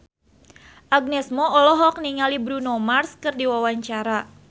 Agnes Mo olohok ningali Bruno Mars keur diwawancara